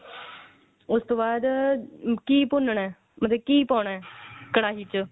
ਉਸ ਤੋਂ ਬਾਅਦ ਘੀ ਭੁੰਨ ਨਾ ਉਹਦੇ ਘੀ ਪਾਣਾ ਕੜਾਹੀ ਚ